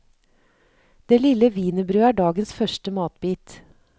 Det lille wienerbrødet er dagens første matbit.